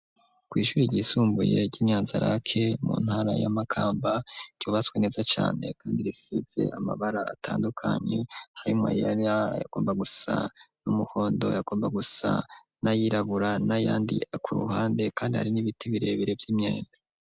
Kw'ishuri ryisumbuye ry'imyanzirak mu ntara y'amakamba yubaswe neza cyane kandi risidze amabara atandukanye harimo yar yagomba gusa n'umuhondo yagomba gusa n'ayirabura nayandi ku ruhande kandi hari n'ibiti birebere vy'imyenda